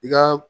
I ka